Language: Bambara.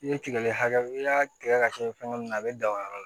I ye tigɛli hakɛ i y'a tigɛ ka kɛ fɛngɛ na a bɛ dan o yɔrɔ la